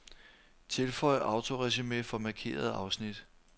Tilføj autoresumé for markerede afsnit.